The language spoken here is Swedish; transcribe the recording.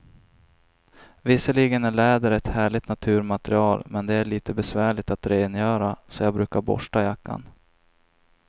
Visserligen är läder ett härligt naturmaterial, men det är lite besvärligt att rengöra, så jag brukar borsta jackan.